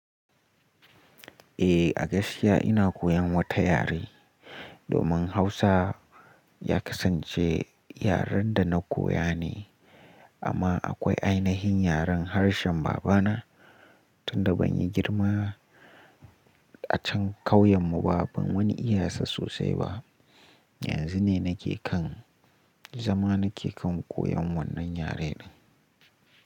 Eh, a gaskiya ina koyan wata yare. Domin Hausa ya kasance yaren da na koya ne amma akwai ainihin yaren harshen babana. Tun da ban yi girma a can kauyenmu ba, ban wani iya sa sosai ba. Yanzu ne nake kan, zama nake kan koyan wannan yare din.